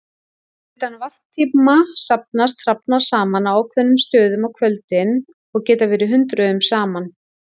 Utan varptíma safnast hrafnar saman á ákveðnum stöðum á kvöldin og geta verið hundruðum saman.